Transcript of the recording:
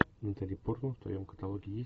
натали портман в твоем каталоге есть